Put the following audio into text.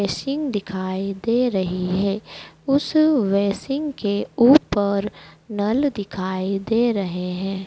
Wasting दिखाई दे रही है उस वेसींग के ऊपर नल दिखाई दे रहे हैं।